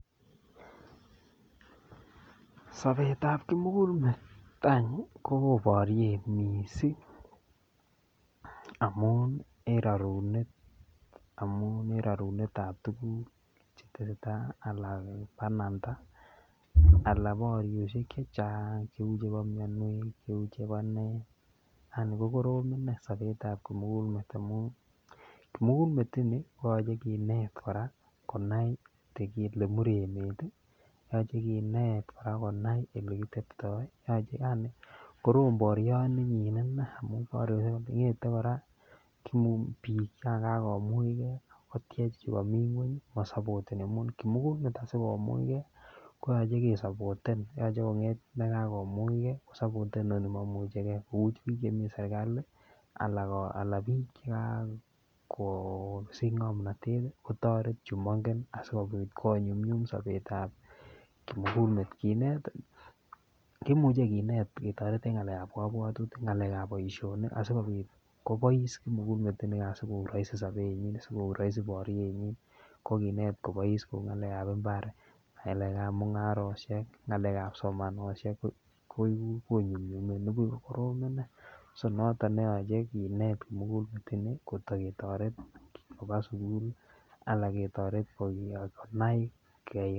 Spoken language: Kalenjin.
Sabet ab kimugul met rain ko won bariet mising amun en rarunet ab tuguk chetesetai anan bananda anan barioshek chechang cheu chebo mianwek Cheba nee yaani ko korom inei Sabet ab kimugul met amun kimugul met ini inet koraa konai Kole Mur emet yache Kinet koraa konai olekitebtoi yaani korom barioni inei amun bare ngete koraa bik changagomugei koteche chikamii ngweny konemu kimugul met sikomuch gei koyache kesaboten yache konget nikakomuch gei koteche chikamii ngweny akosaboten kimugul met sikomuch gei koyache kesaboten koyache sigonget nikakomuch gei komuch bik Chemiten serikali anan bik chekakosich ngamnatet kotaret chumangen sikobit konyumnyum Sabet ab kimugulet Kinet kimuche Kinet ketaretengei en ngalek ab kabwatutik ngalek ab baishoni sikobit kobais kimugul met inigan sigoik rahisi sabenyin ,akoik rahisi barienyin kokinet kobais ngalek ab imbar ngalek ab mungaroshek ngalek ab somanosiek konyumyume nibuvh ko korom inei niton neyache Kinet kotaketaret Koba sukul anan ketaret konai bik